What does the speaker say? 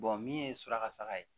min ye suraka saga ye